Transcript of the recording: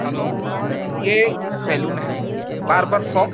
Hello ये salon है barber shop.